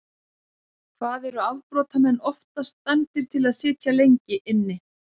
Hvað eru afbrotamenn oftast dæmdir til að sitja lengi inni?